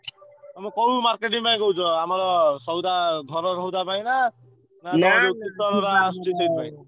ତମେ କୋଉ marketing ପାଇଁ କହୁଛ? ଆମର ସଉଦା ଘର ସଉଦା ପାଇଁ ନାଁ ।